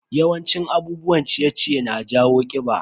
Yawan cin abubuwan ciye-ciye na jawo kiɓa.